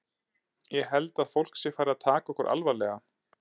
Ég held að fólk sé farið að taka okkur alvarlega.